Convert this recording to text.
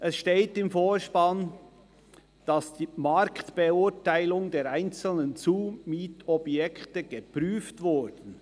Im Vortrag ist zu lesen, «dass die Marktbeurteilung der einzelnen Zumietobjekte geprüft wurden.